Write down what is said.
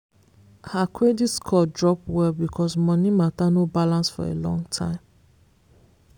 her credit score drop well because money matter no balance for a long time.